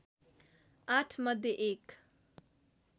आठ मध्ये एक